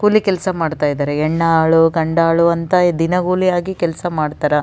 ಕೂಲಿ ಕೆಲಸ ಮಾಡ್ತಿದ್ದಾರೆ ಹೆಣ್ಣಾಳು ಗಂಡಾಳು ಅಂತ ದಿನ ಕೂಲಿ ಕೆಲಸ ಮಾಡ್ತಾರಾ.